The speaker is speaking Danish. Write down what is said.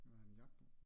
Vil du have min jakke på?